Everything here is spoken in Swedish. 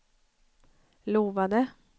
lovade